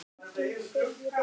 Enginn segir orð.